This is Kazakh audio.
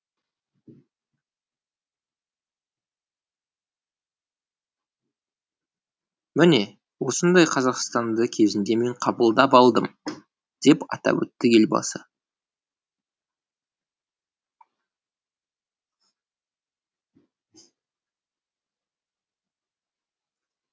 міне осындай қазақстанды кезінде мен қабылдап алдым деп атап өтті елбасы